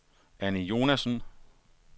Annie Jonassen